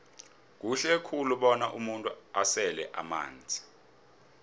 kuhle khulu bona umuntu asele amanzi